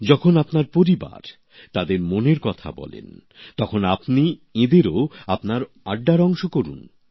যখন আপনার পরিবার তাদের মনের কথা বলেন তখন আপনি এঁদেরও সঙ্গে আড্ডায় যোগ করুন